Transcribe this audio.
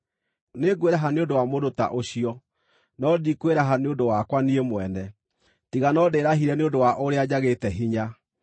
Nĩngwĩraha nĩ ũndũ wa mũndũ ta ũcio, no ndikwĩraha nĩ ũndũ wakwa niĩ mwene, tiga no ndĩĩrahire nĩ ũndũ wa ũrĩa njagĩte hinya.